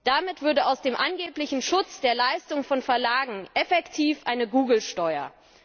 Damit würde aus dem angeblichen Schutz der Leistung von Verlagen effektiv eine Google Steuer.